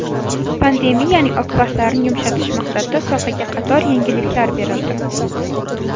Pandemiyaning oqibatlarini yumshatish maqsadida sohaga qator yengilliklar berildi.